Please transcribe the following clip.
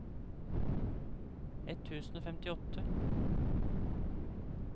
ett tusen og femtiåtte